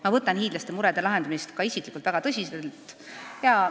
Ma võtan hiidlaste murede lahendamist ka isiklikult väga tõsiselt.